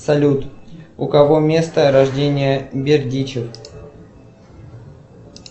салют у кого место рождения бердичев